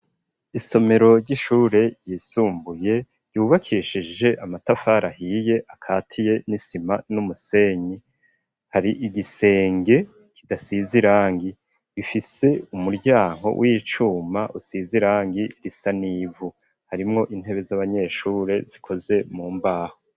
Isomero ry'ishure ryisumbuye ryubakeshije amatafari ahiye akatiye n'isima n'umusenyi hari igisenge kidasize irangi ifise umuryango w'icuma usize irangi risa n'ivu harimwo intebe z'abanyeshure zikoze mu mbaho.